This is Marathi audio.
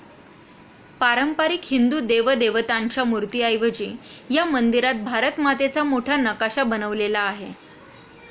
पारंपारिक हिंदू देवदेवतांच्या मूर्तीऐवजी ह्या मंदिरात भारत मातेचा मोठा नकाशा बनवलेला आहे.